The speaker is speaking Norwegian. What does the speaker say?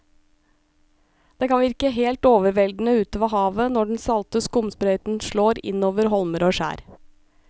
Det kan virke helt overveldende ute ved havet når den salte skumsprøyten slår innover holmer og skjær.